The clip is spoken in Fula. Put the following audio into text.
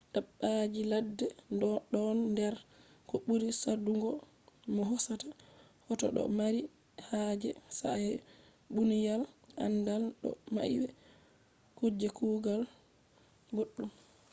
dabbaji ladde ɗon nder ko ɓuri saɗungo mo hosata hoto ɗo mari haje sa’a munyal aandal do mai be kuje kugal boɗɗum